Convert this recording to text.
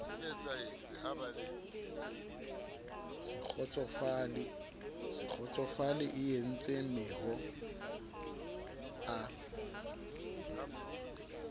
se kgotsofale eentse mehoo a